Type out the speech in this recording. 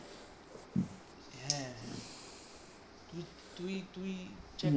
তুই তুই চেক